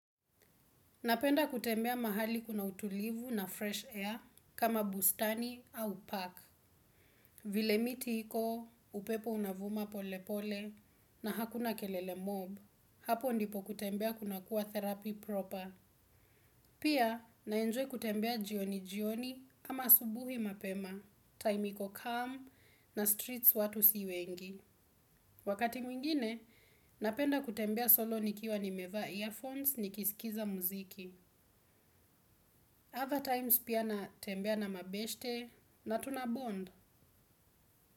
Napenda kutembea mahali kuna utulivu na fresh air kama bustani au park. Vile miti iko, upepo unavuma pole pole na hakuna kelele mob. Hapo ndipo kutembea kunakuwa therapy proper. Pia, naenjoy kutembea jioni jioni kama asubuhi mapema, time iko calm na streets watu si wengi. Wakati mwingine, napenda kutembea solo nikiwa nimevaa earphones nikisikiza muziki. Other times pia natembea na mabeshte na tunabond.